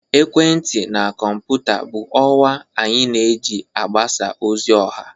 ekwentị na kọmputa bụ ọwa anyị na-eji mgbasa ozi ọha